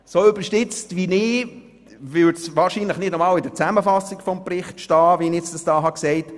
So überspitzt wie ich es sage, würde es wahrscheinlich nicht einmal in der Zusammenfassung des Berichts stehen.